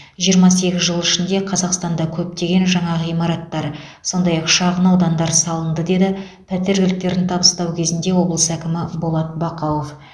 жиырма сегіз жыл ішінде қазақстанда көптеген жаңа ғимараттар сондай ақ шағын аудандар салынды деді пәтер кілттерін табыстау кезінде облыс әкімі болат бақауов